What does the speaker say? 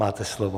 Máte slovo.